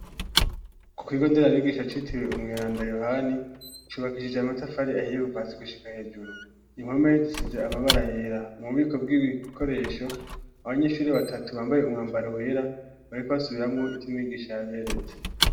Ku kigo ndera abigisha citiwe umwiranda yohani cubakishije amatafari ahiye kuvasi gushika hejuru inkome zisize amabara yera mu bubiko bw'ibikoresho abanyeshuri batatu bambaye umwambaro wera bareko basubiramwo ityumigisha yaberetse.